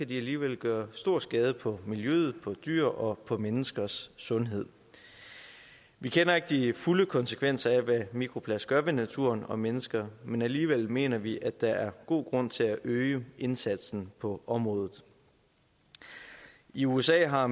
de alligevel gøre stor skade på miljøet dyr og menneskers sundhed vi kender ikke de fulde konsekvenser af hvad mikroplast gør ved naturen og mennesker men alligevel mener vi at der er god grund til at øge indsatsen på området i usa har